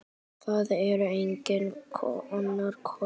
Það er enginn annar kostur.